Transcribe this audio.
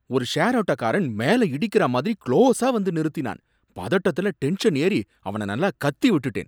ஒரு ஷேர் ஆட்டோக்காரன் மேல இடிக்கிற மாதிரி க்ளோஸா வந்து நிறுத்தினான்! பதட்டத்துல டென்ஷன் ஏறி அவன நல்லா கத்தி விட்டுட்டேன்.